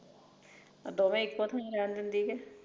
ਦੋਵੇ ਇੱਕੋ ਥਾਂ ਲੈਣ ਦਿੰਦੀਐ